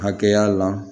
Hakɛya la